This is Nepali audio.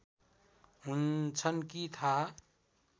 हुन्छन् कि थाहा